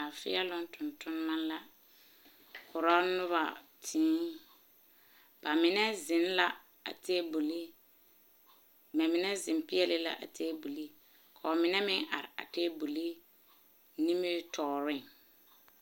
Laafeeloŋ tontonema la korɔ nobɔ tēē ba mine zeŋ la a tabuli ba mine zeŋ peɛle la a tabuli ka ba mine meŋ are a tabuli nimitɔɔreŋ.